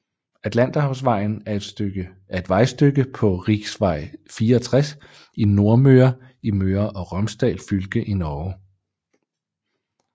Atlanterhavsvejen er et vejstykke på riksvei 64 i Nordmøre i Møre og Romsdal fylke i Norge